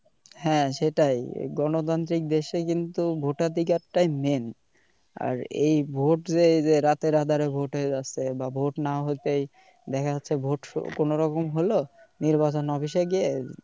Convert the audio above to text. হ্যা এ্যটাই গণতান্ত্রিক দেশে কিন্তু vote ধিকার টাই main আর এই vote এ রাতের আধারে vote হয়ে যাচ্ছে, vote না হতেই দেখা যাচ্ছে vote কোন রকম হলো নির্বাচন office গিয়ে